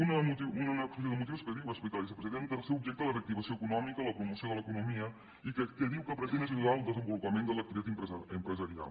una exposició de motius que diu ho explica la vicepresidenta que el seu objecte és la reactivació econòmica la promoció de l’economia i que diu que el que pretén és ajudar el desenvolupament de l’activitat empresarial